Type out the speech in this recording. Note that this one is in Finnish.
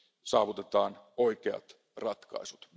saavutetaan oikeat ratkaisut.